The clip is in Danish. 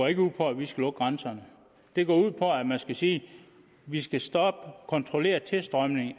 ikke ud på at vi skal lukke grænserne det går ud på at man skal sige vi skal stoppe og kontrollere tilstrømningen af